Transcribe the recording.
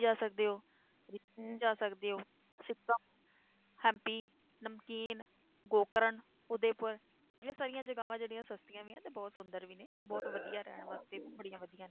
ਜਾ ਸਕਦੇ ਹੋ ਜਾ ਸਕਦੇ ਹੋ, ਸਿਕਮ, ਹੈਂਪੀ, ਨਮਕੀਨ, ਗੋਕਰਨ, ਉਦਯਪੁਰ, ਇਹ ਸਾਰੀਆਂ ਜਗ੍ਹਾਵਾਂ ਜਿਹੜੀਆਂ ਸਸਤੀਆਂ ਵੀ ਹੈ ਤੇ ਬਹੁਤ ਸੁੰਦਰ ਵੀ ਨੇ ਬਹੁਤ ਰਹਿਣ ਵਾਸਤੇ ਵੀ ਬੜੀਆਂ ਵਧੀਆ ਨੇ।